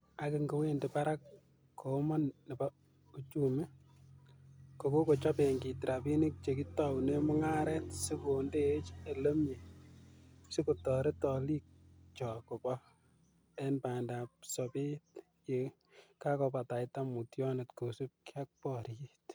"Ak ingowendi barak komoon nebo uchumi, kokochob benkit rabinik chekitounen mung'aret sikondeech elemie sikotoret oliikchok koba en bandab sobet ye kakobataita mutyonet kosiibge ak boriot."